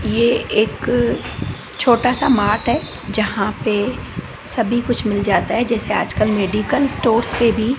ये एक छोटा सा मार्ट है जहां पे सभी कुछ मिल जाता है जैसे आजकल मेडिकल स्टोर्स पे भी--